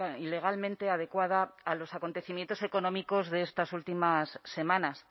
y legalmente adecuada a los acontecimientos económicos de estas últimas semanas